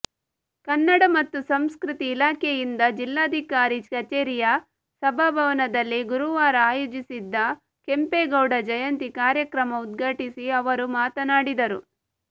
ಕನ್ನಡ ಮತ್ತು ಸಂಸ್ಕೃತಿ ಇಲಾಖೆಯಿಂದ ಜಿಲ್ಲಾಧಿಕಾರಿ ಕಚೇರಿಯ ಸಭಾಭವನದಲ್ಲಿ ಗುರುವಾರ ಆಯೋಜಿಸಿದ್ದ ಕೆಂಪೇಗೌಡ ಜಯಂತಿ ಕಾರ್ಯಕ್ರಮ ಉದ್ಘಾಟಿಸಿ ಅವರು ಮಾತನಾಡಿದರು